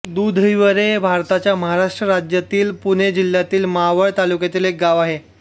दुधीवरे हे भारताच्या महाराष्ट्र राज्यातील पुणे जिल्ह्यातील मावळ तालुक्यातील एक गाव आहे